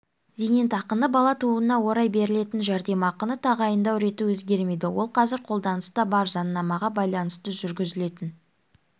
зейнетақыны бала тууына орай берілетін жәрдемақыны тағайындау реті өзгермейді ол қазір қолданыста бар заңнамаға байланысты жүргізілетін